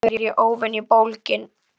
Í dag er ég óvenju bólgin.